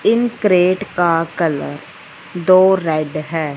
इन crate का colour दो red है।